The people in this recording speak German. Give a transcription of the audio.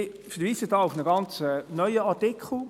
Ich verweise hier auf einen ganz neuen Artikel.